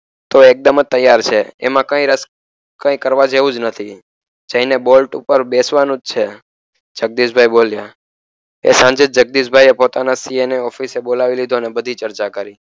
તું એકદમ તૈયાર છે એમા કઈ રસ કઈ કરવા જેવુજ નથી જઈને બોલ્ટ ઉપર બેસવાનુજ છે જગદીશભાઇ બોલ્યા એ સાંજે જગદીશભાઈએ પોતાના CA એ ને ઓફિસ બોલાવી લીધો અને બધી ચર્ચા કરી